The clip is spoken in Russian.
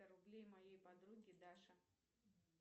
рублей моей подруге даше